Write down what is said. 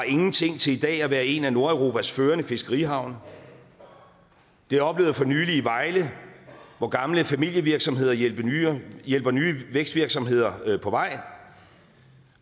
ingenting til i dag at være en af nordeuropas førende fiskerihavne jeg oplevede for nylig i vejle hvor gamle familievirksomheder hjælper nye hjælper nye vækstvirksomheder på vej